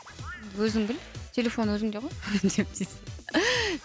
өзің біл телефон өзіңде ғой